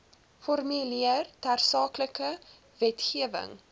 formuleer tersaaklike wetgewing